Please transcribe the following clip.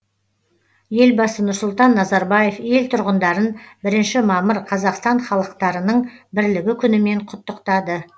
елбасы нұрсұлтан назарбаев ел тұрғындарын бірінші мамыр қазақстан халықтарының бірлігі күнімен құттықтады